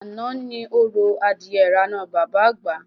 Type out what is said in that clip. Àná ni orò adìye irànà Bàbá Àgbà